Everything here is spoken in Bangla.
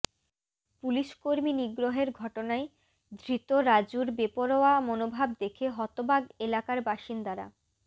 পুলিশকর্মী নিগ্রহের ঘটনায় ধৃত রাজুর বেপরোয়া মনোভাব দেখে হতবাক এলাকার বাসিন্দারা